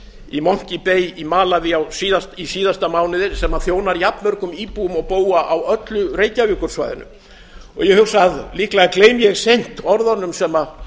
í monkey bay í malaví í síðasta mánuði sem þjónar jafnmörgum íbúum og búa á öllu reykjavíkursvæðinu ég hugsa að líklega gleymi ég seint orðunum sem